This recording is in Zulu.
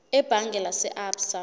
ebhange lase absa